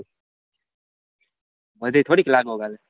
હજુ થોડીક લાગવગ હાલે